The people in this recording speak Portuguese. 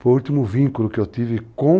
Foi o último vínculo que eu tive com